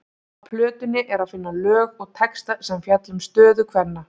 Á plötunni er að finna lög og texta sem fjalla um stöðu kvenna.